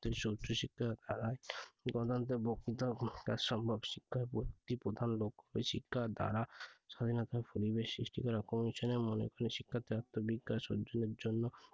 উচ্চ শিক্ষার দ্বারা গণতন্ত্রের বক্তৃতা ভূমিকা সম্ভব শিক্ষার প্রধান লক্ষ্য শিক্ষা দ্বারা স্বাধীনতার পরিবেশ সৃষ্টি করা commission এর শিক্ষার্থীর আত্মবিকাশ অর্জনের জন্য